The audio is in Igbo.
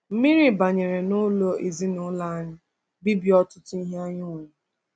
Mmiri banyeere n’ụlọ ezinụlọ anyị, bibie ọtụtụ ihe anyị nwere.